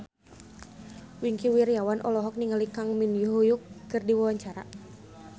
Wingky Wiryawan olohok ningali Kang Min Hyuk keur diwawancara